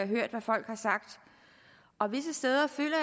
hørt hvad folk har sagt og visse steder føler